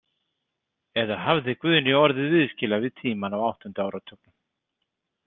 Eða hafði Guðný orðið viðskila við tímann á áttunda áratugnum?